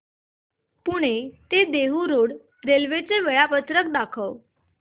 पुणे ते Dehu road railway चे वेळापत्रक दाखव